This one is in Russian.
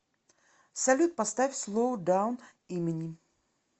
салют поставь слоу даун имани